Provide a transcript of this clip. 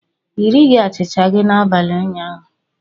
Ị righi achịcha gị n'abalị ụnyaahụ.